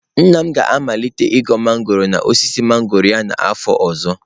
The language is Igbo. Nna m ga-amalite ị ghọ mangọrọ n'osisi mangọrọ ya n'afọ ọzọ.